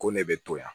Ko ne bɛ to yan